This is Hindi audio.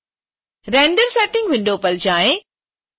render setting विंडो पर जाएँ